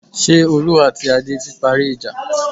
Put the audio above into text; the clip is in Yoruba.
Ṣé Olú àti Adé ti parí ìjà?